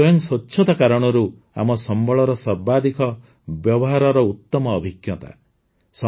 ଏହା ସ୍ୱୟଂ ସ୍ୱଚ୍ଛତା କାରଣରୁ ଆମ ସମ୍ବଳର ସର୍ବାଧିକ ବ୍ୟବହାରର ଉତମ ଅଭିଜ୍ଞତା